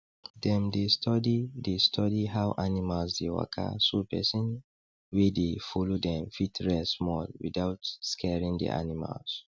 dem dey study dey study how animals dey waka so person wey dey follow dem fit rest small without scaring d animals